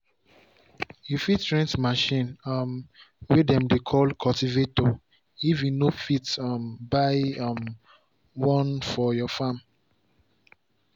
you fit rent machine um way dem dey call cultivator if you no fit um buy um one for your farm.